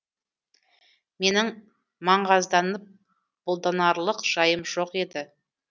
менің маңғазданып бұлданарлық жайым жоқ еді